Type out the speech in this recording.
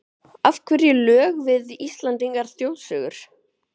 Af hverju lög við íslenskar þjóðsögur?